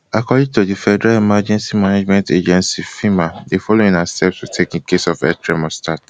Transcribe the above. according to di federal emergency management agency fema di following na steps to take in case earth tremor start